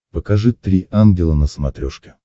покажи три ангела на смотрешке